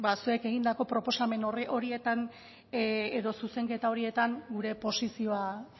zuek egindako proposamen horietan edo zuzenketa horietan gure posizioa